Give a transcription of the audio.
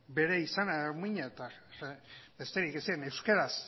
bere izana eta muina eta besterik ez zekiten